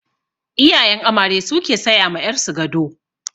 Iyayen amare su ke saya ma ƴar su gado.